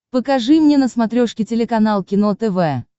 покажи мне на смотрешке телеканал кино тв